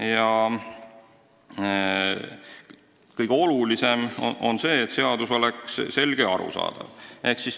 Ja kõige olulisem on, et seadus oleks selge ja arusaadav.